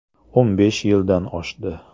O‘n besh yildan oshdi.